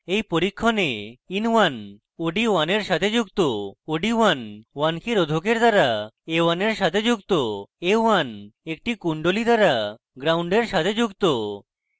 in পরীক্ষণে